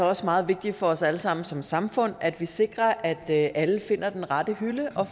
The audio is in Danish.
også meget vigtigt for os alle sammen som samfund at vi sikrer at alle finder den rette hylde og